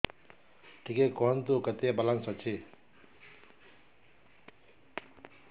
ଟିକେ କୁହନ୍ତୁ କେତେ ବାଲାନ୍ସ ଅଛି